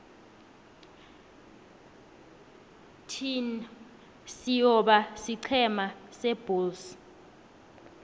thin siyobona isiqhema sebulls